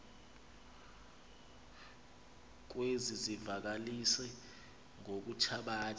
kwezi zivakalisi ngokuthabatha